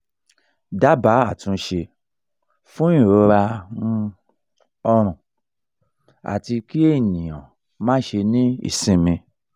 daba atunse fun irora ni um ọrun ati ki eyan ma se ni isinmi